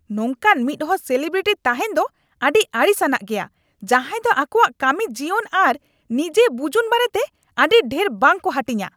ᱱᱚᱝᱠᱟᱱ ᱢᱤᱫ ᱦᱚᱲ ᱥᱮᱞᱤᱵᱨᱤᱴᱤ ᱛᱟᱦᱮᱸᱱ ᱫᱚ ᱟᱹᱰᱤ ᱟᱹᱲᱤᱥᱼᱟᱱᱟᱜ ᱜᱮᱭᱟ, ᱡᱟᱦᱟᱸᱭ ᱫᱚ ᱟᱠᱚᱣᱟᱜ ᱠᱟᱹᱢᱤᱡᱤᱭᱚᱱ ᱟᱨ ᱱᱤᱡᱟᱹ ᱵᱩᱡᱩᱱ ᱵᱟᱨᱮᱛᱮ ᱟᱹᱰᱤ ᱰᱷᱮᱨ ᱵᱟᱝ ᱠᱚ ᱦᱟᱹᱴᱤᱧᱼᱟ ᱾